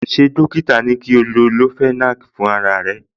Ṣé dọ́kítà ní kí o lo leofenac fún ara ríro